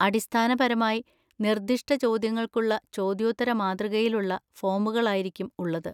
അടിസ്ഥാനപരമായി നിർദ്ദിഷ്ട ചോദ്യങ്ങൾക്കുള്ള ചോദ്യോത്തര മാതൃകയിൽ ഉള്ള ഫോമുകളായിരിക്കും ഉള്ളത്.